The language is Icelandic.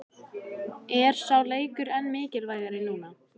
Er sá leikur enn mikilvægari núna?